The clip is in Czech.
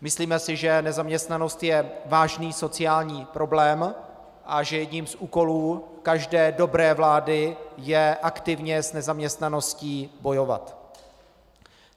Myslíme si, že nezaměstnanost je vážný sociální problém a že jedním z úkolů každé dobré vlády je aktivně s nezaměstnaností bojovat.